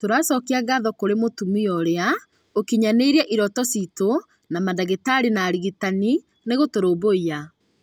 tũracokia ngatho kũrĩ mũtumia ũrĩa ũkinyanĩirie iroto ciitũ na mandagĩtarĩ na arigitani nĩgũtũrũmbũiya